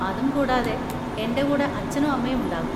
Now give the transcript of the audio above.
അതും കൂടാതെ, എൻ്റെ കൂടെ അച്ഛനും അമ്മയും ഉണ്ടാകും.